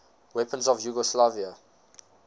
weapons of yugoslavia